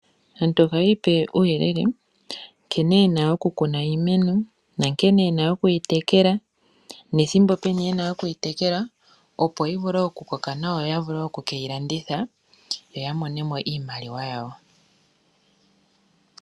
Aantu ohayipe uuyelele nkene yena okukuna iimeno na nkene yena okuyitekela nethimbo peni yena okuyitekela opo yivule okukoka nawa yo yavule okuyilanditha yoyamone mo iimaliwa yawo.